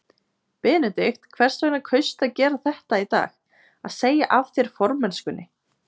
Benedikt, hvers vegna kaustu að gera þetta í dag, að segja af þér formennskunni?